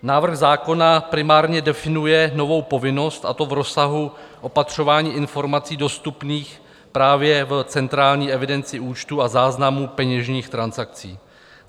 Návrh zákona primárně definuje novou povinnost, a to v rozsahu opatřování informací dostupných právě v centrální evidenci účtů a záznamů peněžních transakcí.